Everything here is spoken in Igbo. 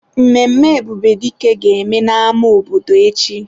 Mmemme Ebubedike ga-eme na-ama obodo echi.